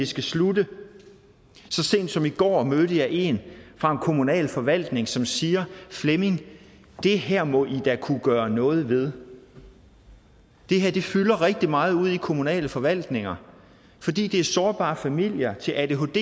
skal slutte så sent som i går mødte jeg en fra en kommunal forvaltning som siger at flemming det her må i da kunne gøre noget ved det her fylder rigtig meget ude i kommunale forvaltninger fordi det er sårbare familier til adhd